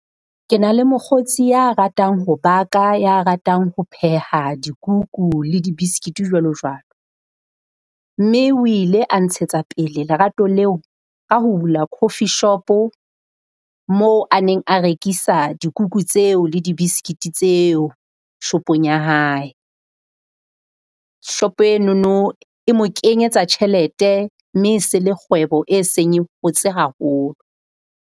Ke na le mokgotsi ya ratang ho baka, ya ratang ho pheha dikuku le dibistiki jwalo jwalo. Mme o ile a ntshetsa pele lerato leo ka ho bula coffee shop-o moo a neng a rekisa dikuku tseo le di dibistiki tseo shopong ya hae. Shop-o enono e mo kenyetsa tjhelete mme se le kgwebo e seng e hotse haholo.